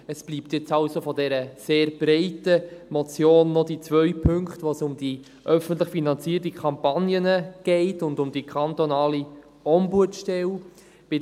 Es bleiben jetzt also von dieser sehr breiten Motion noch die beiden Punkte, bei denen es um die öffentlich finanzierten Kampagnen und um die kantonale Ombudsstelle geht.